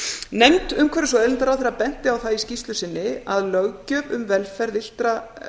nefnd umhverfis og auðlindaráðherra benti á það í skýrslu sinni að löggjöf um velferð villtra